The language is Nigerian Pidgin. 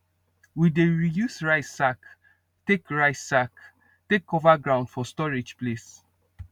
we dey reuse rice sack take rice sack take cover ground for storage place